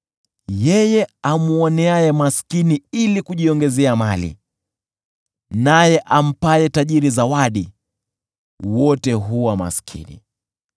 Yeye amwoneaye maskini ili kujiongezea mali, naye ampaye tajiri zawadi, wote huwa maskini.